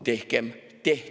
Tehkem!